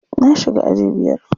Na shiga aji biyar.